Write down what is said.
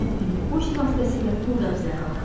Mən indi poçt vasitəsilə pul qəbzləri alıram.